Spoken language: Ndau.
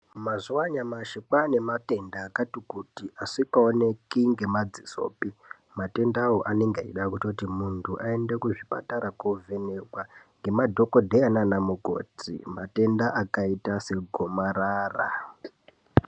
Mazuva anyamashi kwane matenda akati kuti asingaoneki ngemadzisopi, matendawo anenge eida kutoti muntu aende kuzvipatara kovhenekwa ngemadhokodheya nana mukoti. Matenda akaita segomarara.